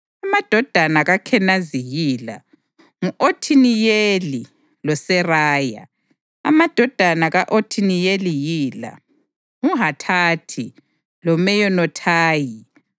Amadodana kaKhenazi yila: ngu-Othiniyeli loSeraya. Amadodana ka-Othiniyeli yila: nguHathathi loMeyonothayi.